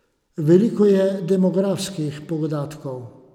Veliko je demografskih podatkov.